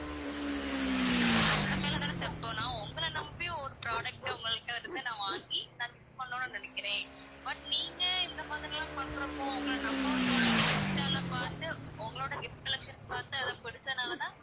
உங்க மேல தானே தப்பு, நாங்க உங்கள நம்பி ஒரு product ட உங்கள்ட்ட இருந்து வாங்கி நான் gift பண்ணனும்ன்னு நினைக்கிறேன். but நீங்க இந்த மாதிரிலாம் பண்றப்போ உங்கள நம்பவும் தோணாது, இன்ஸ்டால பாத்து உங்களோட gift collection பாத்து அது புடிச்சதனால தான்